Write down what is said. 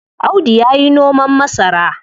Audu yayi noman masara.